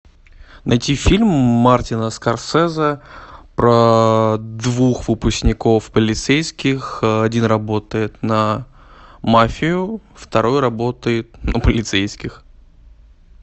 найти фильм мартина скорсезе про двух выпускников полицейских один работает на мафию второй работает на полицейских